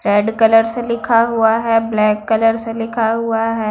Red colour से लिखा हुआ है ब्लैक कलर से लिखा हुआ है।